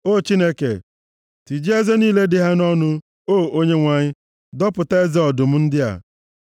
O Chineke, tijie eze niile dị ha nʼọnụ; o Onyenwe anyị, dọpụta eze ọdụm ndị a!